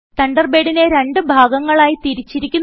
തണ്ടർബേഡിനെ രണ്ട് ഭാഗങ്ങളായി തിരിച്ചിരിക്കുന്നു